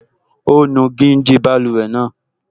Ó nu gíjí báluwẹ̀ náà